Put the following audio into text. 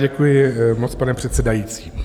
Děkuji moc, pane předsedající.